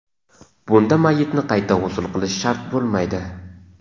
Bunda mayyitni qayta g‘usl qilish shart bo‘lmaydi.